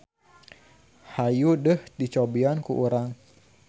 Hayu deuh dicobian ku urang.